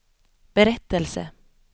berättelse